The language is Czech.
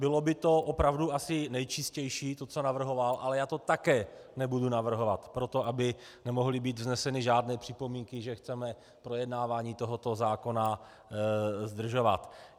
Bylo by to opravdu asi nejčistější, to, co navrhoval, ale já to také nebudu navrhovat proto, aby nemohly být vzneseny žádné připomínky, že chceme projednávání tohoto zákona zdržovat.